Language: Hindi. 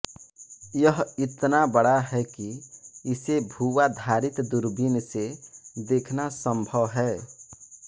यह इतना बड़ा है कि इसे भूआधारित दूरबीन से देखना संभव है